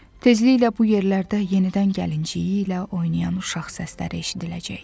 Tezliklə bu yerlərdə yenidən gəlinciyi ilə oynayan uşaq səsləri eşidiləcək.